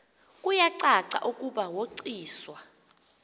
kuyacaca ukuba woyiswa